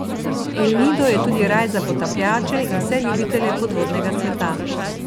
El Nido je tudi raj za potapljače in vse ljubitelje podvodnega sveta.